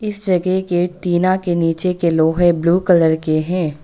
इस जगह के टीना के नीचे के लोहे ब्लू कलर के हैं।